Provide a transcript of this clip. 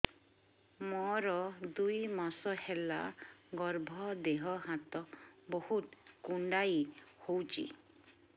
ମୋର ଦୁଇ ମାସ ହେଲା ଗର୍ଭ ଦେହ ହାତ ବହୁତ କୁଣ୍ଡାଇ ହଉଚି